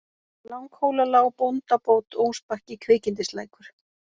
Langhólalág, Bóndabót, Ósbakki, Kvikindislækur